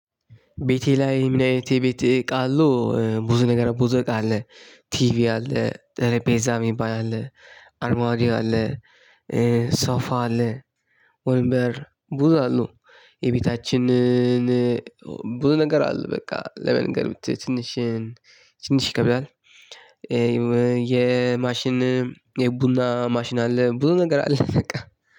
ቤቴ ላይ ምናይት የቤቴ እቃ አሎ ብዙ ነገር ብዙ ቃል አለ። ቲቪ አለ። ፔዛ ሚባይ አለ። አርማዲያ አለ። ሶፋ አለ። ወንበር ብዙ አሉ። የቤታችንን ብዙ ነገር አለ በቃ ለመንገር ትንሽ ትንሽ ይከብዳል። የማሽን የቡና ማሽን አለ ብዙ ነገር አለ። በቃ